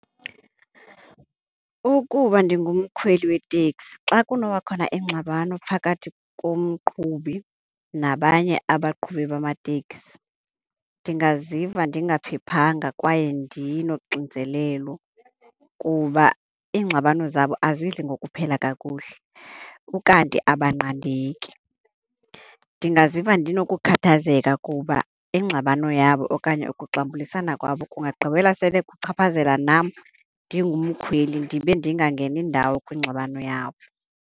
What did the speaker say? Ukuba ndingu mkhweli weteksi xa kunoba khona ingxabano phakathi komqhubi nabanye abaqhubi bamateksi, ndingaziva ndingaphephana kwaye ndinoxinzelelo kuba iingxabano zabo azidli ngokuphela kakuhle, ukanti abanqandeki. Ndingaziva ndinokukhathazeka kuba ingxabano yabo okanye ukuxambulisana kwabo kungagqibela sele kuchaphazela nam ndingumkhweli ndibe ndingangeni indawo kwingxabano yabo.